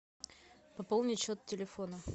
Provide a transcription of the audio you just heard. пополнить счет телефона